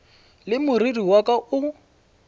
le moriri wa ka o